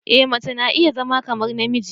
E mace na iya zama kamar namiji.